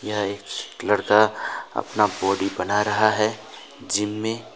यहां एक लड़का अपना बॉडी बना रहा है जिम में।